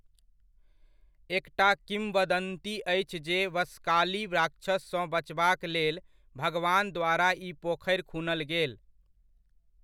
एकटा किंवदन्ती अछि जे बशकाली राक्षससँ बचबाक लेल भगवान द्वारा ई पोखरि खुनल गेल ।